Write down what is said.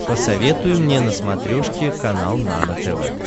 посоветуй мне на смотрешке канал нано тв